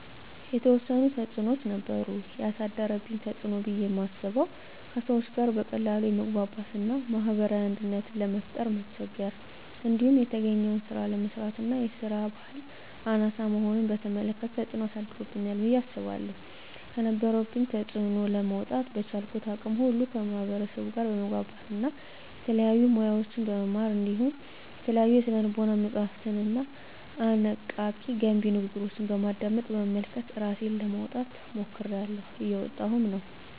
የተዎሰኑ ተፅኖዎች ነበሩ። የአሳደረብኝ ተፅኖ ብየ ማስበው:- ከሰዎች ጋር በቀላሉ የመግባባት እና ማህበራዊ አንድነትን ለመፍጠር መቸገር። እንዲሁም የተገኘውን ስራ አለመስራት እና የስራ በህል አናሳ መሆንን በተመለከተ ተፅኖ አሳድሮብኛል ብየ አስባለሁ። ከነበረብኝ ተፅኖ ለመውጣ:- በቻልኩት አቅም ሁሉ ከማህበርሰቡ ጋር በመግባባት እና የተለያዩ ሙያዎችን በመማር እንዲሁም የተለያዩ የስነ ልቦና መፀሀፍትንና አነቃ፣ ገንቢ ንግግሮችን በማድመጥ፣ በመመልከት እራሴን ለማውጣት ሞክሬላሁ። እየወጣሁም ነው።